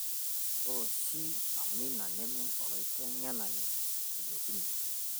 ore oshi amina neme olateng'inani ejokini